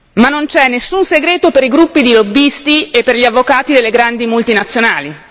Ma non c'è nessun segreto per i gruppi di lobbisti e per gli avvocati delle grandi multinazionali.